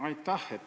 Aitäh!